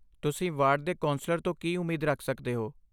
ਤੁਸੀਂ ਵਾਰਡ ਦੇ ਕੌਂਸਲਰ ਤੋਂ ਕੀ ਉਮੀਦ ਰੱਖ ਸਕਦੇ ਹੋ?